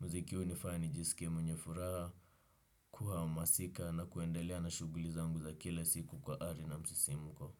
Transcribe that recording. Muziki hunifanya nijisikie mwenye furaha, kuhamasika na kuendelea na shughuli zangu za kila siku kwa ari na msisimko.